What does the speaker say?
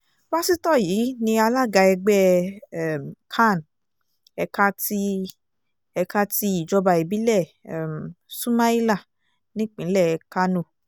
pásítọ̀ yìí ni alága ẹgbẹ́ um can ẹ̀ka ti ẹ̀ka ti ìjọba ìbílẹ̀ um sumaila nípìnlẹ̀ kánò